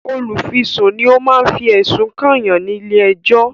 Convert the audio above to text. Olùfisùn ni o ma fi ẹ̀sùn kànyàn ní ilé ẹ̀jọ́